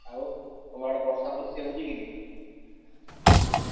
ଆଉ? ତମ ଆଡେ ବର୍ଷା ବର୍ଷୀ ହଉଛି କି ନି?